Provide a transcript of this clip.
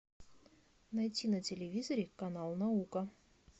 найти на телевизоре канал наука